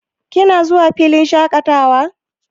Kina zuwa filin shaƙatawa?